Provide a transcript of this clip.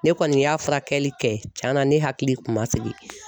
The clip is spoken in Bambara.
Ne kɔni y'a furakɛli kɛ cɛn na ne hakili kun ma sigi.